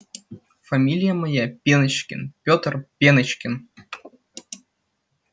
фамилия моя пеночкин пётр пеночкин